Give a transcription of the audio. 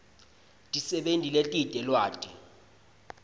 tisebenti letite lwati